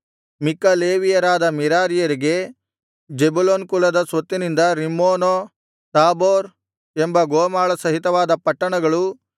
ಮಿಕ್ಕ ಲೇವಿಯರಾದ ಮೆರಾರಿಯರಿಗೆ ಜೆಬುಲೋನ್ ಕುಲದ ಸ್ವತ್ತಿನಿಂದ ರಿಮ್ಮೋನೋ ತಾಬೋರ್ ಎಂಬ ಗೋಮಾಳ ಸಹಿತವಾದ ಪಟ್ಟಣಗಳೂ